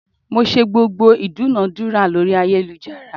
Mo ṣe gbogbo ìdúnadúrà lórí ayélujára.